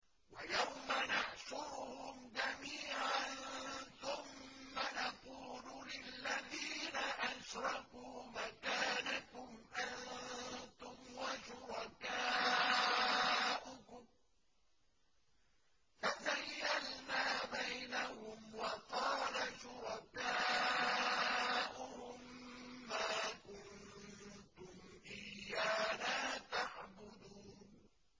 وَيَوْمَ نَحْشُرُهُمْ جَمِيعًا ثُمَّ نَقُولُ لِلَّذِينَ أَشْرَكُوا مَكَانَكُمْ أَنتُمْ وَشُرَكَاؤُكُمْ ۚ فَزَيَّلْنَا بَيْنَهُمْ ۖ وَقَالَ شُرَكَاؤُهُم مَّا كُنتُمْ إِيَّانَا تَعْبُدُونَ